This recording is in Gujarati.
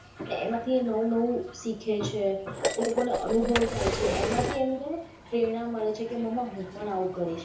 એમાંથી એ નવું નવું શીખે છે એ લોકોને અનુભવ થાય છે એમાંથી એમને પ્રેરણા મળે છે કે મામા હું પણ આવું કરીશ.